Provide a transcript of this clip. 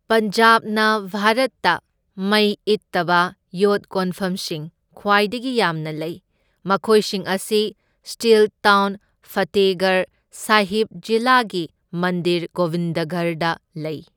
ꯄꯟꯖꯥꯕꯅ ꯚꯥꯔꯠꯇ ꯃꯩ ꯏꯠꯇꯕ ꯌꯣꯠ ꯀꯣꯟꯐꯝꯁꯤꯡ ꯈ꯭ꯋꯥꯏꯗꯒꯤ ꯌꯥꯝꯅ ꯂꯩ, ꯃꯈꯣꯏꯁꯤꯡ ꯑꯁꯤ ꯁ꯭ꯇꯤꯜ ꯇꯥꯎꯟ ꯐꯇꯦꯍꯒꯔ ꯁꯥꯍꯤꯕ ꯖꯤꯂꯥꯒꯤ ꯃꯟꯗꯤꯔ ꯒꯣꯕꯤꯟꯗꯒꯔꯗ ꯂꯩ꯫